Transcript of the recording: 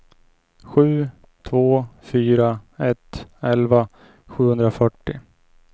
sju två fyra ett elva sjuhundrafyrtio